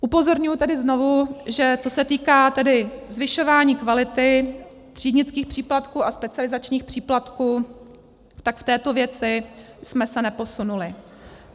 Upozorňuji tedy znovu že, co se týká tedy zvyšování kvality, třídnických příplatků a specializačních příplatků, tak v této věci jsme se neposunuli.